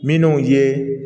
Minnu ye